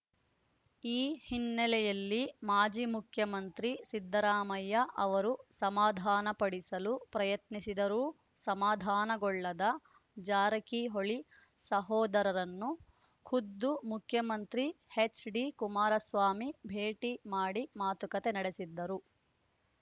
ಈ ಹಿನ್ನೆಲೆಯಲ್ಲಿ ಮಾಜಿ ಮುಖ್ಯಮಂತ್ರಿ ಸಿದ್ದರಾಮಯ್ಯ ಅವರು ಸಮಾಧಾನಪಡಿಸಲು ಯತ್ನಿಸಿದರೂ ಸಮಾಧಾನಗೊಳ್ಳದ ಜಾರಕಿಹೊಳಿ ಸಹೋದರರನ್ನು ಖುದ್ದು ಮುಖ್ಯಮಂತ್ರಿ ಎಚ್‌ಡಿಕುಮಾರಸ್ವಾಮಿ ಭೇಟಿ ಮಾಡಿ ಮಾತುಕತೆ ನಡೆಸಿದ್ದರು